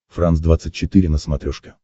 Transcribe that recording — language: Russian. франс двадцать четыре на смотрешке